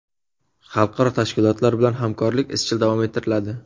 Xalqaro tashkilotlar bilan hamkorlik izchil davom ettiriladi.